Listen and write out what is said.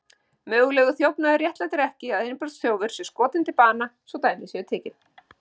Mögulegur þjófnaður réttlætir ekki að innbrotsþjófur sé skotinn til bana, svo dæmi sé tekið.